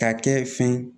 K'a kɛ fɛn